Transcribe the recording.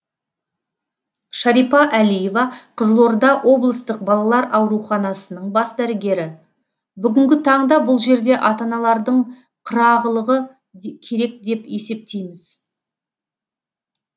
шарипа әлиева қызылорда облыстық балалар ауруханасының бас дәрігері бүгінгі таңда бұл жерде ата аналардың қырағылығы керек деп есептейміз